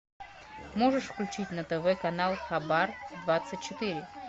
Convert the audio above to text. можешь включить на тв канал хабар двадцать четыре